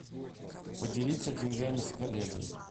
поделиться деньгами с коллегой